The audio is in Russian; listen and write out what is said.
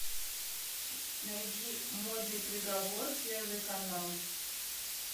найди модный приговор первый канал